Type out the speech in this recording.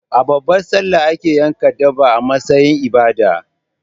A babbar sallah ake yanka dabba a matsayin ibada